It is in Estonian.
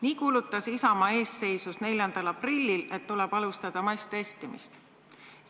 Nii kuulutas Isamaa eestseisus 4. aprillil, et tuleb alustada masstestimist.